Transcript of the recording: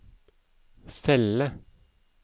celle